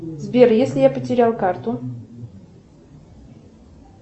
сбер если я потерял карту